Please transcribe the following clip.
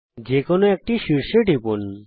এখন যে কোনো একটি শীর্ষে টিপুন